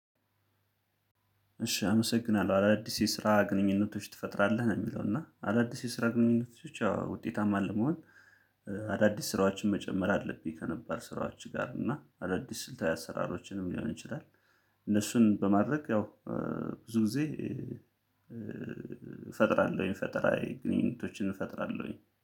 እሺ አመሰግናለሁ አዳዲስ የስራ ግንኙነቶች ትፈጥራለህ ነው የሚለው እና አዳዲስ የስራ ግንኙነቶች ያው ውጤታማ ለመሆን። አዳዲስ ስራዎችን መጨመር አለብኝ ከነባረሰ ስራዎች ጋር እና አዳዲስ ስልታዊ አሰራሮችንም ሊሆን ይችላል። እነሱን በማድረግ ያው ብዙ ጊዜ። የፈጠራዬ ግንኙነቶችን እፈጥራለሁኝ